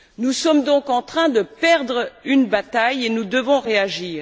Nous sommes donc en train de perdre une bataille et nous devons réagir.